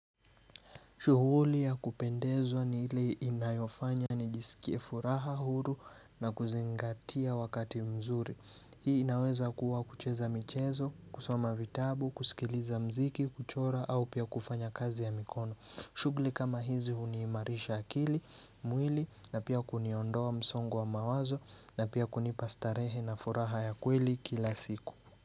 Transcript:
Shughuli ya kupendezwa ni ile inayofanya nijisikie furaha huru na kuzingatia wakati mzuri. Hii inaweza kuwa kucheza michezo, kusoma vitabu, kusikiliza mziki, kuchora au pia kufanya kazi ya mikono. Shugli kama hizi huniimarisha akili, mwili na pia kuniondoa msongo wa mawazo na pia kunipastarehe na furaha ya kweli kila siku.